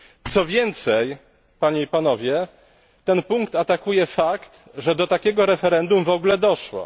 Co więcej, Panie i Panowie, ten punkt atakuje fakt, że do takiego referendum w ogóle doszło.